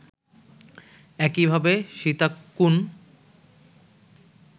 একইভাবে সীতাকুণ্